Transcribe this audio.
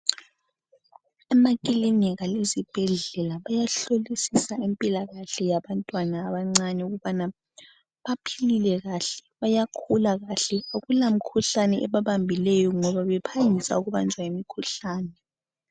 Emakilinika lezibhedlela bayahlolisisa impilakahle yabantwana abancane ukuba baphilile kuhle, bayakhula kuhle akulamikhuhlane ebabambileyo ngoba bephangisa ukubanjwa yimikhuhlane.